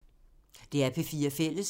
DR P4 Fælles